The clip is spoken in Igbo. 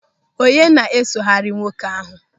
Onye na-esogharị nwoke ahụ?